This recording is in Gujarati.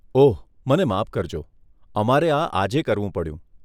ઓહ, મને માફ કરજો, અમારે આ આજે કરવું પડ્યું.